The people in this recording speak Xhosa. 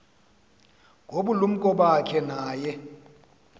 ngobulumko bakhe naye